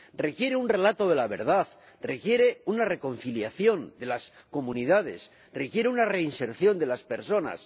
requiere un relato de la verdad, requiere una reconciliación de las comunidades, requiere una reinserción de las personas.